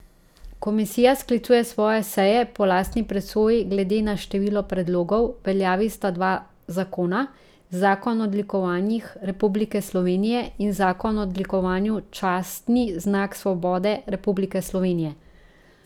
Komisija sklicuje svoje seje po lastni presoji glede na število predlogov, v veljavi sta dva zakona, zakon o odlikovanjih Republike Slovenije in zakon o odlikovanju častni znak svobode Republike Slovenije.